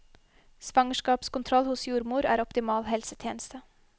Svangerskapskontroll hos jordmor er optimal helsetjeneste.